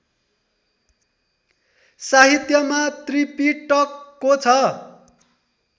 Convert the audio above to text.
साहित्यमा त्रिपिटकको छ